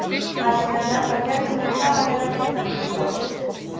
Það sem hefur nefnilega bjargað mér um dagana er að vita: ég er stórkostleg.